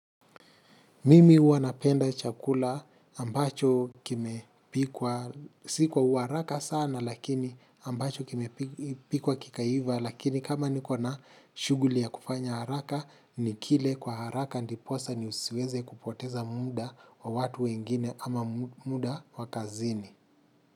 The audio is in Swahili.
Mimi huwa napenda chakula ambacho kimepikwa si kwa uharaka sana lakini ambacho kime pikwa kikaiva lakini kama nikona shughuli ya kufanya haraka nikile kwa haraka ndiposa nisiweze kupoteza muda wa watu wengine ama muda wa kazini.